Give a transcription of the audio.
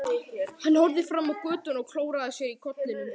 Hann horfði fram á götuna og klóraði sér í kollinum.